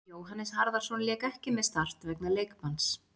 Jóhannes Harðarson lék ekki með Start vegna leikbanns.